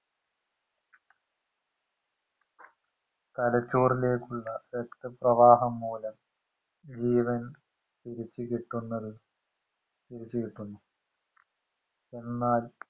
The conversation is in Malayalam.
തലച്ചോറിലേക്കുള്ള രക്തപ്രവാഹം മൂലം ജീവൻ തിരിച് കിട്ടുന്നത് തിരിച്ചു കിട്ടുന്നു എന്നാൽ